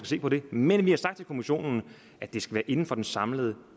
se på det men vi har sagt til kommissionen at det skal ske inden for den samlede